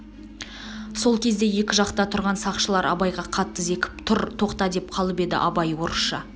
сол кезде екі жақта тұрған сақшылар абайға қатты зекіп тұр тоқта деп қалып еді абай орысша